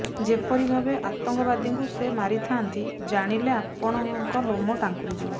ଯେପରି ଭାବେ ଆତଙ୍କବାଦୀଙ୍କୁ ସେ ମାରିଥାଆନ୍ତି ଜାଣିଲେ ଆପଣଙ୍କ ଲୋମ ଟାଙ୍କୁରି ଯିବ